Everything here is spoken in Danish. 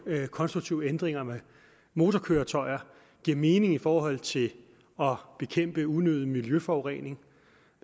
konstruktive ændringer af motorkøretøjer giver mening i forhold til at bekæmpe unødig miljøforurening